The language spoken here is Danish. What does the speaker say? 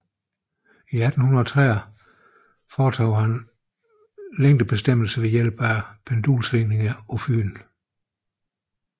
I 1830 foretog han længdebestemmelser ved hjælp af pendulsvingninger på Fyn